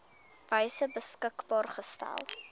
wyse beskikbaar gestel